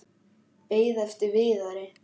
Beið eftir Viðari.